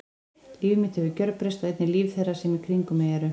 Líf mitt hefur gjörbreyst og einnig líf þeirra sem í kringum mig eru.